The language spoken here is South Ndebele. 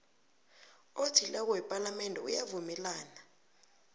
othileko wepalamende uyavumelana